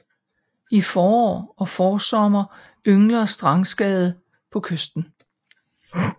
I forår og forsommer yngler strandskade på kysten